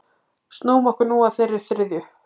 Snúum okkur nú að þeirri þriðju.